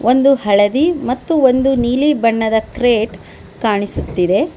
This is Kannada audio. ಒಂದು ಹಳದಿ ಮತ್ತು ಒಂದು ನೀಲಿ ಬಣ್ಣದ ಕ್ರೇಟ ಕಾಣಿಸುತ್ತದೆ.